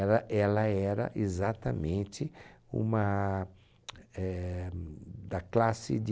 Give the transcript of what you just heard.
Ela era exatamente uma... éh... da classe de...